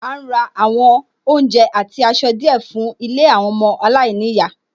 À ń ra àwọn oúnjẹ àti aṣọ díẹ̀ fún ilé ọmọ aláìníyàá